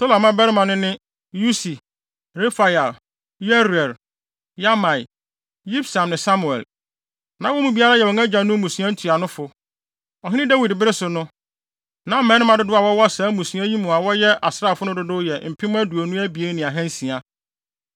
Tola mmabarima no ne: Usi, Refaia, Yeriel, Yahmai, Yibsam ne Samuel. Na wɔn mu biara yɛ wɔn agyanom mmusua ntuanofo. Ɔhene Dawid bere so no, na mmarima dodow a wɔwɔ saa mmusua yi mu a wɔyɛ asraafo no dodow yɛ mpem aduonu abien ne ahansia (22,600).